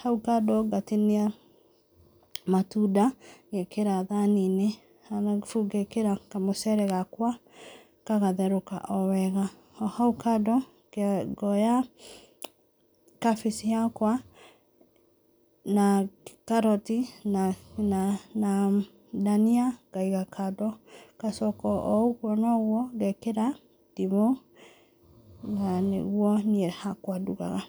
Hau kando ngatinia matunda, ngeekĩra thaani-inĩ arabu ngeekĩra kamũcere gakwa gagatherũka o wega. O hau kando, ngoya kabĩci yakwa na carrot na na na dania ngaiga kando, ngacoka o ũguo na ũguo, ngeekĩra ndimũ, na nĩguo niĩ hakwa ndugaga.